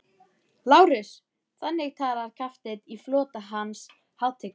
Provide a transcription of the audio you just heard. LÁRUS: Þannig talar kafteinn í flota Hans hátignar?